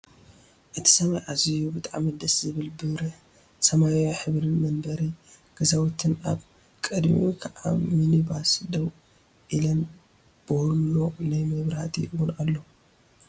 እቱይ ሰማይ ኣዝዩ ብጣዕሚ ደስ ዝብል ብርህ ሰማያዊ ሕብሪን መንበሪ ገዛውትን ኣብ ቅድሚኡ ከዓ ሚንባስ ደው ኢላን ቦሎ ናይ መብራህቲ እውን ኣሎ።